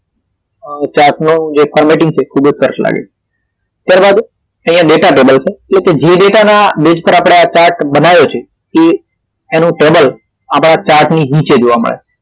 આહ chart નો formatting એ ખૂબ જ સરસ લાગે. ત્યાર બાદ અહિયાં data table પર જે data ના answer માટે જે chart બનાવ્યો છે તે એનો table આપણા chart ની નીચે જોવા મળે છે.